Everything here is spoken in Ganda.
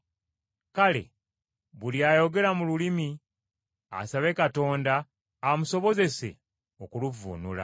Kale buli ayogera mu lulimi asabe Katonda amusobozese okuluvvuunula.